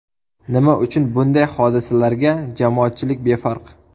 Nima uchun bunday hodisalarga jamoatchilik befarq?